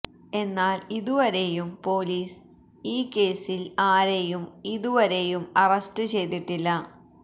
എന്നാൽ ഇതുവരെയും പോലീസ് ഈ കേസിൽ ആരെയും ഇതുവരെയും അറസ്റ്റ് ചെയ്തിട്ടില്ല